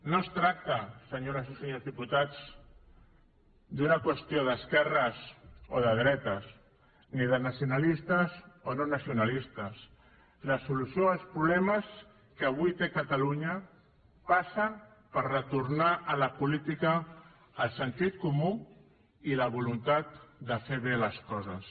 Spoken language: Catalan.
no es tracta senyores i senyors diputats d’una qüestió d’esquerres o de dretes ni de nacionalistes o no nacionalistes la solució als problemes que avui té catalunya passa per retornar a la política el sentit comú i la voluntat de fer bé les coses